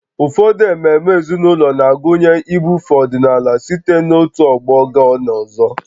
Ụfọdụ ememe ezinụlọ na-agụnye ibufe ọdịnala site n'otu ọgbọ gaa n'ọzọ